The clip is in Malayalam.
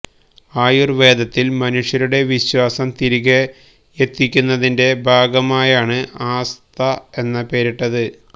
ആയുര്വേദത്തില് മനുഷ്യരുടെ വിശ്വാസം തിരികെയത്തിക്കുന്നതിന്റെ ഭാഗമായാണ് ആസ്ത എന്ന് പേരിട്ടത്